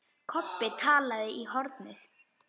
Kobbi talaði í hornið.